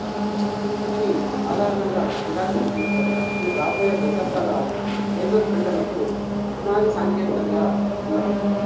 దీనిని సాధారణంగా జిరాక్స్ అని పిలుస్తారు ఇది రాబోయే దశాబ్దాల లేజర్ ప్రింటర్లకు పునాది సాంకేతికతగా ఉన్నది